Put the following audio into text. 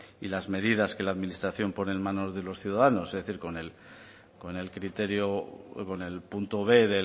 y las medidas que la administración pone en manos de unos ciudadanos es decir con el criterio con el punto b